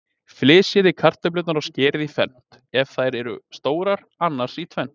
Flysjið kartöflurnar og skerið í fernt, ef þær eru stórar, annars í tvennt.